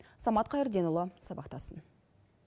самат қайырденұлы сабақтасын